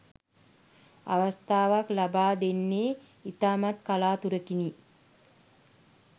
අවස්ථාවක් ලබා දෙන්නේ ඉතාමත් කලාතුරකිනි.